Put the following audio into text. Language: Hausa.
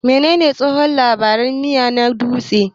Menene tsohon labari na miya na dutse?